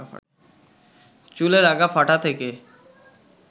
চুলের আগা ফাঁটা থেকে